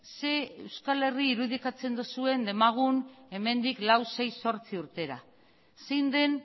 zein euskal herri irudikatzen duzuen demagun hemendik lau sei zortzi urtera zein den